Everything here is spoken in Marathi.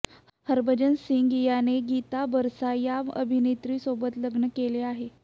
हरभजन सिंह याने गीता बसरा या अभिनेत्रीसोबत लग्न केले आहे